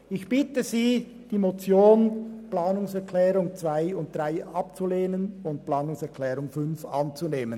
Ich bitte Sie, die Motion sowie die Planungserklärungen 2 und 3 abzulehnen und die Planungserklärung 5 anzunehmen.